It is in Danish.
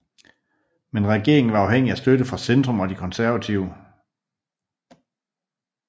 Men regeringen var afhængig af støtte fra Centrum og de konservative